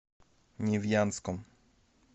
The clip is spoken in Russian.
невьянском